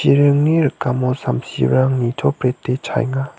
iringni rikamo samsirang nitoprete chaenga.